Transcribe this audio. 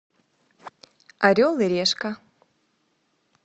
орел и решка